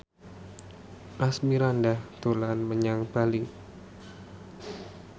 Asmirandah dolan menyang Bali